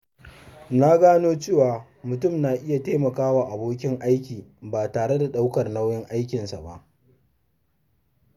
Na gano cewa mutum na iya taimakawa abokin aiki ba tare da ɗaukar nauyin aikinsa ba.